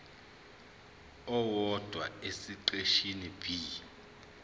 owodwa esiqeshini b